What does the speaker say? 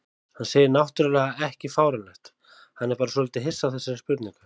Hann segir náttúrlega ekki fáránlegt, hann er bara svolítið hissa á þessari spurningu.